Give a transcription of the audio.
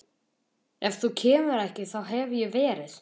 Ef þú kemur ekki þá hef ég verið